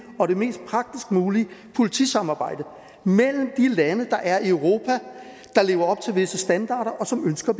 og det mest praktisk mulige politisamarbejde mellem de lande der er i europa der lever op til visse standarder og som ønsker